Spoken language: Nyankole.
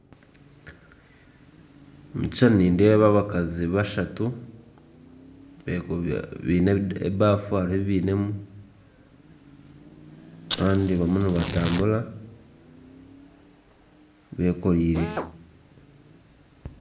Omu kishushani nindeeba abakazi bashatu baine ebafu haine ebi bainemu kandi bariyo nibatambura beekoreire